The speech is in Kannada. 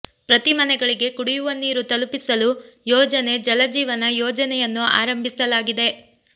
ಪ್ರತಿ ಮನೆಗಳಿಗೆ ಕುಡಿಯುವ ನೀರು ತಲುಪಿಸಲು ಯೋಜನೆ ಜಲಜೀವನ ಯೋಜನೆಯನ್ನು ಆರಂಭಿಸಲಾಗಿದೆ